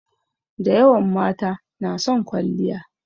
Dayawan mata na son kwalliya.